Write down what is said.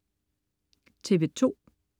TV2: